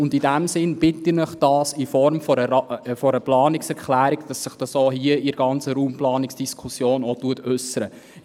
In diesem Sinn bitte ich Sie, dies in Form einer Planungserklärung zu unterstützen, damit dies auch hier in der Raumplanungsdiskussion geäussert wird.